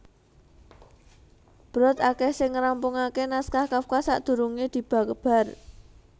Brod akèh sing ngrampungaké naskah Kafka sadurungé dibabar